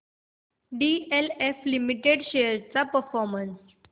DLF limited shares चा performance